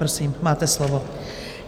Prosím, máte slovo.